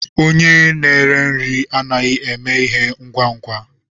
Onye a nere nri anaghị eme ihe ngwa ngwa.